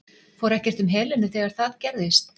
Fór ekkert um Helenu þegar það gerðist?